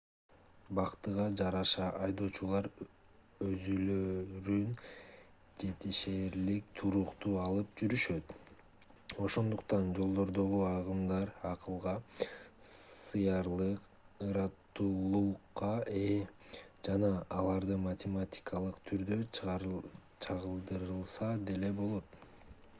бактыга жараша айдоочулар өзүлөрүн жетишээрлик туруктуу алып жүрүшөт ошондуктан жолдордогу агымдар акылга сыярлык ыраттуулукка ээ жана аларды математикалык түрдө чагылдырылса деле болот